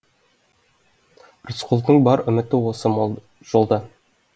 рысқұлдың бар үміті осы жолда